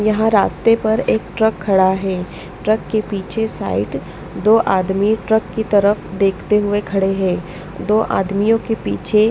यहाँ रास्ते पर एक ट्रक खड़ा है ट्रक के पीछे साइड दो आदमी ट्रक की तरफ देखते हुए खड़े हैं दो आदमियों के पीछे--